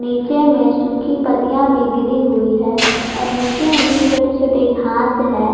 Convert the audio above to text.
नीचे में सूखी पत्तियां भी गिरी हुई है और नीचे में भी छोटे छोटे घास है।